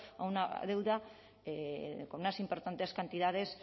a una deuda con unas importantes cantidades